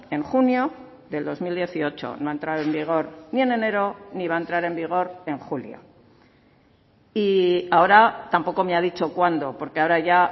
en junio del dos mil dieciocho no ha entrado en vigor ni en enero ni va a entrar en vigor en julio y ahora tampoco me ha dicho cuándo porque ahora ya